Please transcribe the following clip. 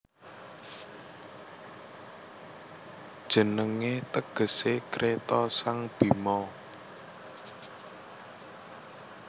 Jenengé tegesé Kreta sang Bhima